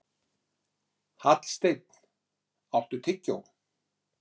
Hallsteinn, áttu tyggjó?